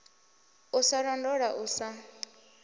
u sa londola u sa